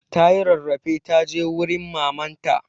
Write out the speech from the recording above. Ta yi rarrafe ta je wurin maman ta.